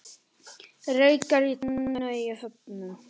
Reykur í tunnu í Höfnum